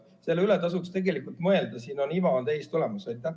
Selle üle tasuks tegelikult mõelda, siin on iva täiesti olemas.